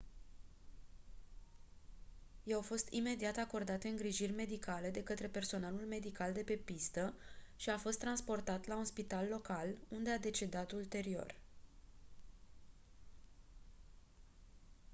i-au fost imediat acordate îngrijiri medicale de câtre personalul medical de pe pistă și a fost transportat la un spital local unde a decedat ulterior